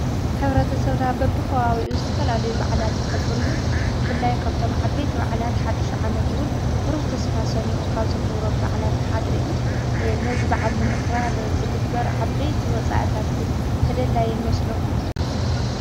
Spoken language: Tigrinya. ሕብረተሰብና በቢከባቢኡ ዝተፈላለዩ በዓላት የኽብር እዩ። ብፍላይ ካብቶም ዓበይቲ በዓላት ሓዱሽ ዓመት እውን ብሩህ ተስፋ ሰኒቁ ካብ ዝኽበረሉ በዓላት ሓደ እዩ። ነዚ በዓል ንምኽባር ዝግበር ዓበይቲ ወፃኢታት ግን ተደላዪ ይመስለኩም ?